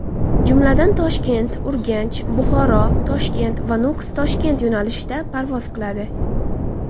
Jumladan, ToshkentUrganchBuxoroToshkent va ToshkentNukus yo‘nalishida parvoz qiladi.